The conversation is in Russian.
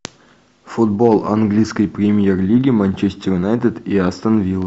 футбол английской премьер лиги манчестер юнайтед и астон вилла